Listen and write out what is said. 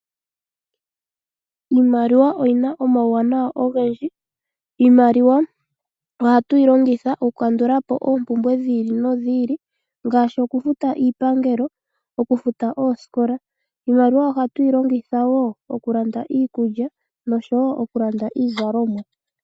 Iimaliwa oyina omauwanawa ogendji. Iimaliwa ohatu yi longitha oku kandula po oompumbwe dhi ili nodhi ili ngaashi oku futa oosikola. Iimaliwa ohatu yi longitha wo oku landa iikulya noshowo oku landa iizalomwa.